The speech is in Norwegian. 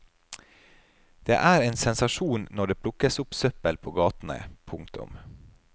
Det er en sensasjon når det plukkes opp søppel på gatene. punktum